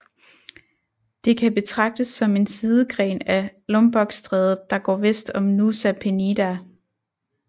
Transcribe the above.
Det kan betragtes som en sidegren af Lombokstrædet der går vest om Nusa Penida